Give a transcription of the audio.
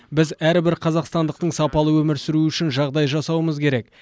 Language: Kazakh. біз әрбір қазақстандықтың сапалы өмір сүруі үшін жағдай жасауымыз керек